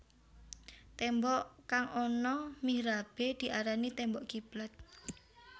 Témbok kang ana mihrabé diarani témbok kiblat